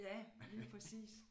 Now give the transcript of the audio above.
Ja lige præcis